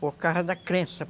Por causa da crença.